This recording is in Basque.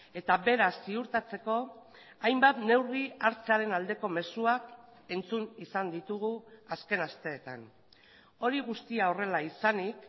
eta beraz ziurtatzeko hainbat neurri hartzearen aldeko mezuak entzun izan ditugu azken asteetan hori guztia horrela izanik